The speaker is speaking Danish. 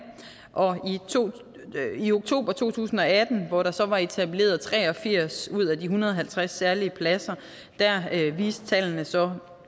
og i oktober to tusind og atten hvor der så var etableret tre og firs ud af de en hundrede og halvtreds særlige pladser viste tallene så